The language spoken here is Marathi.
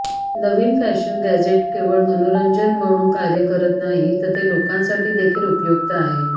नविन फॅशन गॅझेट केवळ मनोरंजन म्हणूनच कार्य करत नाही तर ते लोकांसाठी देखील उपयुक्त आहे